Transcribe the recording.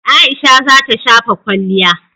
Aisha za ta shafa kwalliya.